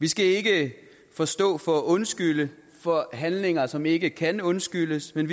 vi skal ikke forstå for at undskylde for handlinger som ikke kan undskyldes men